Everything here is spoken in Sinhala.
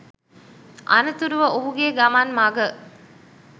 අනතුරුව ඔහුගේ ගමන් මග